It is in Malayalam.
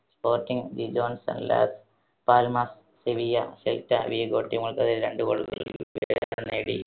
Sporting, Gijon, Las Palmas, Sevilla, Celta Vigo team കൾക്കെതിരെ രണ്ട് goal വീതം നേടി.